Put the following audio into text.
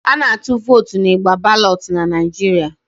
A na-atụ votu n'igba balotu n'Naijiria